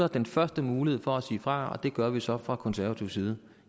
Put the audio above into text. den første mulighed for at sige fra og det gør vi så fra konservativ side